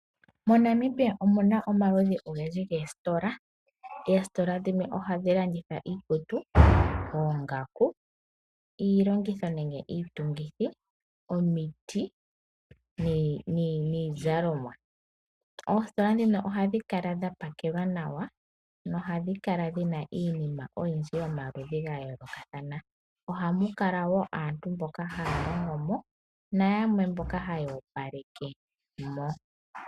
MoNamibia omu na omaludji ogendji goositola. Oositola dhimwe ohadhi landitha iikutu, oongaku, iitungitho, omiti niizalomwa. Oositola ohadhi kala dha pakelwa nawa, nohadhi kala dhi na iinima oyindji yomaludhi ga yoolokathana. Ohamu kala aantu mboka ha ya longo mo nayamwe mboka ha ya opaleke mo.